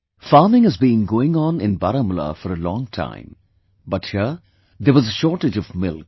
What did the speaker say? Farming has been going on in Baramulla for a long time, but here, there was a shortage of milk